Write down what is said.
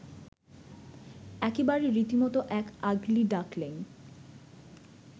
একেবারে রীতিমতো এক আগলি ডাকলিঙ